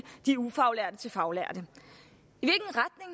de ufaglærte til faglærte